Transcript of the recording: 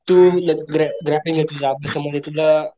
तू ग्रॅ ग्रॅ ग्राफिन्ग अभ्यास मध्ये तुझं